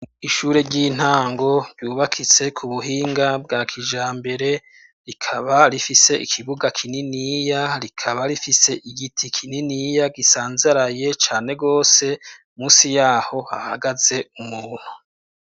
Ishure ry'intango ryubakitse ku buhinga bwa kijambere rikaba rifise ikibuga kininiya rikaba rifise igiti kininiya gisanzaraye cane gose musi yaho hahagaze umuntu